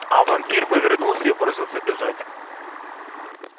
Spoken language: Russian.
а вампир повернулся и бросился бежать